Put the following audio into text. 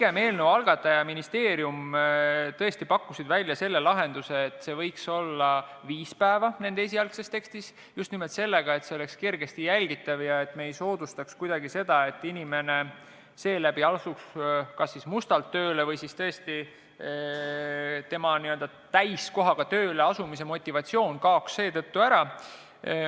Eelnõu algataja ministeerium pakkus tõesti välja selle lahenduse, et see võiks olla viis päeva, nende esialgses tekstis oli nii, just nimelt sel põhjusel, et see oleks kergesti jälgitav ja et me ei soodustaks kuidagi seda, et inimene seeläbi asuks kas mustalt tööle või siis tõesti tema täiskohaga tööle asumise motivatsioon kaoks ära.